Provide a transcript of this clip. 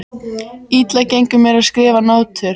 Illa gengur mér að skrifa nótur.